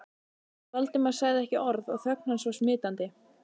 Valdimar sagði ekki orð og þögn hans var smitandi.